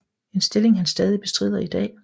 En stilling han stadig bestrider i dag